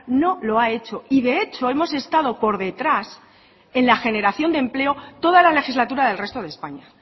no lo ha hecho y de hecho hemos estado por detrás en la generación de empleo toda la legislatura del resto de españa